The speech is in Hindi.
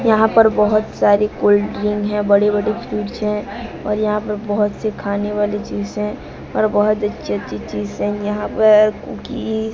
यहां पर बहोत सारी कोल्ड ड्रिंक है बड़े-बड़े फूड्स हैं और यहां पर बहोत से खाने वाली चीज है और बहोत अच्छी-अच्छी चीज है यहां पर कुकी --